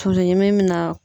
Tulu ɲimi bɛ na